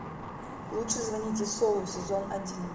лучше звоните солу сезон один